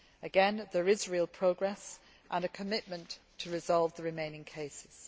Again, there is real progress and a commitment to resolving the remaining cases.